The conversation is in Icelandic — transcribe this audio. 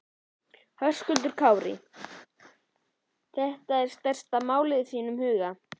Höskuldur Kári: Þetta er stærsta málið í þínum huga?